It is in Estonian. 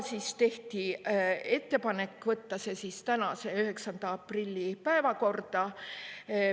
Siis tehti ettepanek võtta see tänase, 9. aprilli istungi päevakorda.